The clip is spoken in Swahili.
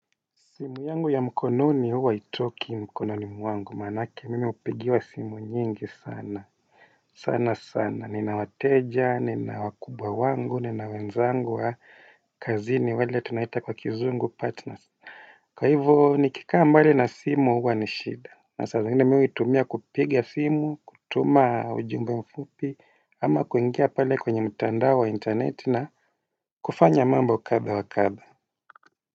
Simu yangu ya mkononi huwa haitoki mkononi mwangu manake mimi hupigiwa simu nyingi sana sana sana nina wateja, nina wakubwa wangu, nina wenzangu wa kazini wale tunaita kwa kizungu (partners).Kwa hivyo nikikaa mbali na simu huwa ni shida na saa zingine mimi huitumia kupigia simu kutuma ujumbe mfupi ama kuingia pale kwenye mtandao wa interneti na kufanya mambo kadhaa wakadhaa.